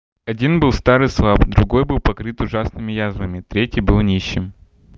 один был стар и слаб другой был покрыт ужасными язвами третий был нищим